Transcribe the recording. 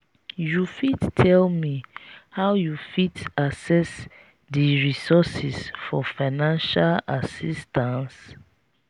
you fit tell me how you fit access di resources for financial assistance?